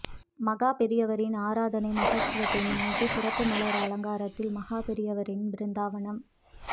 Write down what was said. மகா பெரியவரின் ஆராதனை மஹோத்ஸவத்தை முன்னிட்டு சிறப்பு மலர் அலங்காரத்தில் மகா பெரியவரின் பிருந்தாவனம்